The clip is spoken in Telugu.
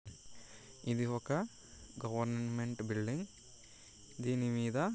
ఇది ఒక గవర్నమెంట్ బిల్డింగ్. దీని మీద--